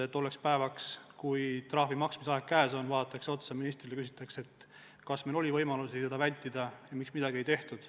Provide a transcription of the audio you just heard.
Tollel päeval, kui trahvi maksmise aeg käes oleks, vaadataks otsa ministrile ja küsitaks, kas meil oli võimalusi seda vältida ja miks midagi ei tehtud.